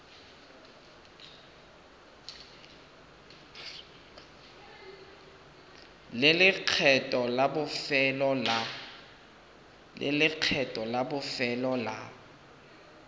le lekgetho la bofelo la